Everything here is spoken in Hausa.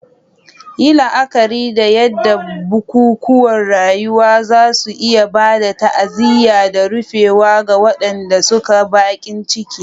Yi la'akari da yadda bukukuwan rayuwa za su iya ba da ta'aziyya da rufewa ga waɗanda suke baƙin ciki.